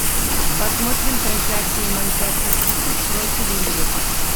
посмотрим трансляцию манчестер сити против ливера